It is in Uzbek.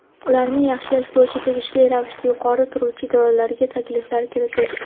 ularni yaxshilash bo‘yicha tegishli ravishda yuqori turuvchi idoralarga takliflar kiritish.